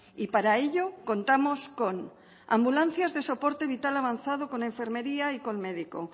y para ello contamos con ambulancias de soporte vital avanzado con enfermería y con médico